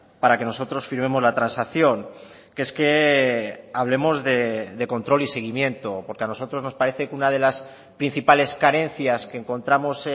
para que nosotros firmemos la transacción que es que hablemos de control y seguimiento porque a nosotros nos parece que una de las principales carencias que encontramos